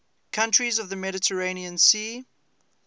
countries of the mediterranean sea